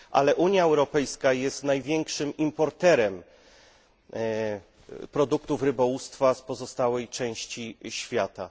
Ale Unia Europejska jest największym importerem produktów rybołówstwa z pozostałej części świata.